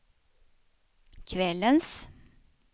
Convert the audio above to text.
kvällens